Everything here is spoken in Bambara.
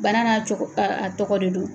Bana'a cogo a tɔgɔ de don.